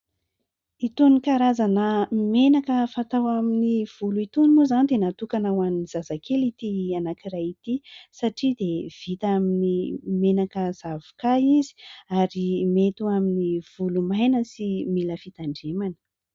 Itony karazana menaka fatao amin'ny volo itony moa izany dia natokana ho an'ny zazakely ity anankiray ity satria dia vita amin'ny menaka zavoka izy ary mety amin'ny volo maina sy mila fitandremana.